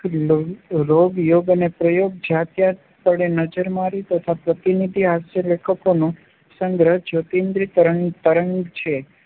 રોગ, યોગ અને પ્રયોગ જ્યાં ત્યાં પડે નજર મારી તથા પ્રતિનિધિ હાસ્યલેખોનો સંગ્રહ જ્યોતીન્દ્ર તરંગ છે